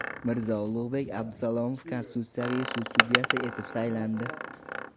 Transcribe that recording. Mirzo-Ulug‘bek Abdusalomov Konstitutsiyaviy sud sudyasi etib saylandi.